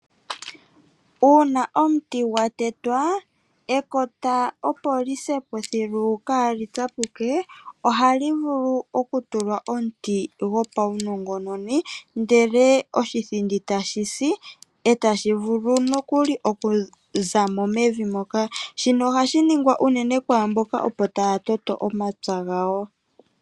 Uuna omuti gwa tetwa, ekota opo li se po thilu kaa li tsapuke, oha li vulu okutulwa omuti gwo paunongononi, ndele oshithindi ta shi si , e tashivulu nokuli oku za mo mevi moka. Shino oha shi ningwa ne unene kwaamboka opo taa toto omaoya gawo.